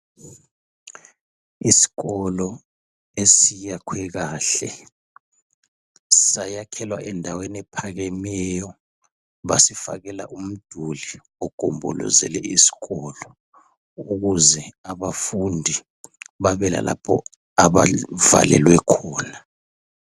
isikolo esiyakhwe kahle sayakhelwa endaweni ephakemeyo basifakela umduli ogombolozele isikolo ukuze abafundi babelalapho abavalelwe khona